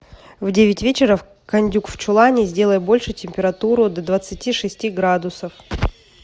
в девять вечера кондюк в чулане сделай больше температуру до двадцати шести градусов